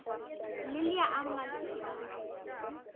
Lilja Amalía.